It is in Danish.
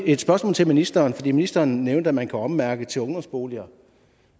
et spørgsmål til ministeren for ministeren nævnte at man kan ommærke til ungdomsboliger